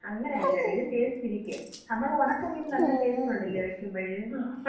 അങ്ങനെയല്ലടെ. ഇത് ടേസ്റ്റ് ഇരിക്കും. നമ്മള് ഉണക്കമീന് നല്ല ടേസ്റ്റ് ഉണ്ടല്ലേ വയ്ക്കുമ്പഴ്?